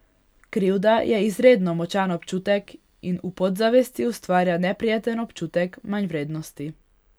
Krivda je izredno močan občutek in v podzavesti ustvarja neprijeten občutek manjvrednosti.